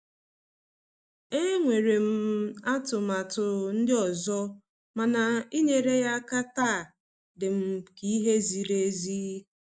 Enwere m m atụmatụ ndị ọzọ, mana inyere ya aka taa dịm ka ihe ziri ezi.